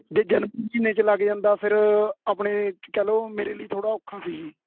ਜੇ ਜਨਵਰੀ ਮਹੀਨੇ ਚ ਲੱਗ ਜਾਂਦਾ ਫੇਰ ਆਪਣੇ ਕਹਿਲੋ ਮੇਰੇ ਲੀਏ ਥੋੜਾ ਔਖਾ ਸੀ ਜੀ